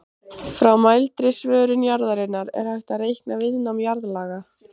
Frá mældri svörun jarðarinnar er hægt að reikna viðnám jarðlaga.